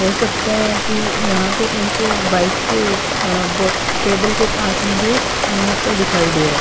हो सकता है कि यहां पे एक बाइक के उप अ बॉक्स टेबल के पास मुझे पाइनएप्पल दिखाई दे रह है ।